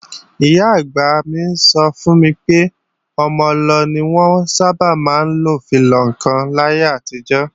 Ìyá-àgbà mi sọ fún mi pé ọmọ-ọlọ ni wọ́n sábà máa ń fi lọ ǹkan láyé àtijọ́